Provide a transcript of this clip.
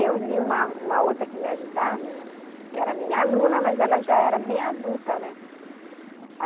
Eu e uma uma outra que me ajudava, que era minha aluna, mas ela já era bem adulta, né?